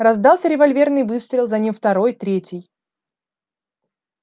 раздался револьверный выстрел за ним второй третий